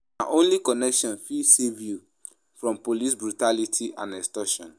Na only connection fit save you from police brutality and extortion.